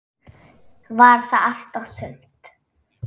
Var það allt og sumt?